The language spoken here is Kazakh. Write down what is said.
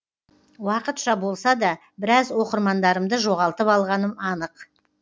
уақытша болса да біраз оқырмандарымды жоғалтып алғаным анық